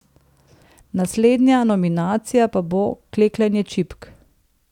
Naslednja nominacija pa bo klekljanje čipk.